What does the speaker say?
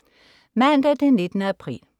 Mandag den 19. april